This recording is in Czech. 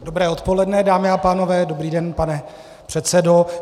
Dobré odpoledne, dámy a pánové, dobrý den, pane předsedo.